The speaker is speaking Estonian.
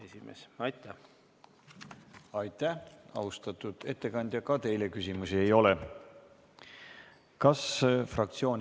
Esimene lugemine on lõpetatud ja määran muudatusettepanekute esitamise tähtajaks k.a 10. novembri kell 17.15.